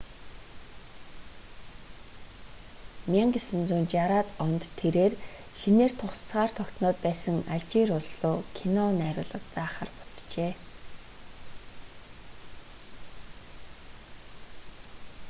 1960-аад онд тэрээр шинээр тусгаар тогтноод байсан алжир улс руу кино найруулга заахаар буцжээ